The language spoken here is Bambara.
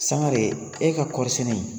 Sini de ye e ka kɔɔriɔsɛnɛ ye